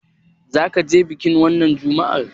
Za ka je bikin wannan Juma'ar?